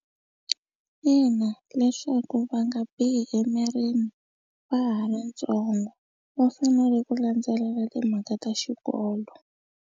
Ina, leswaku va nga bihi emirini va ha ri ntsongo va fanele ku landzelela timhaka ta xikolo.